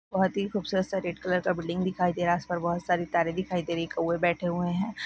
बहुत खूबसूरत सा रेड कलर का बिल्डिंग दिखाई दे रहा है उस पर बहुत सारी तारे दिखाई दे रही है कौवे बैठे हुए है।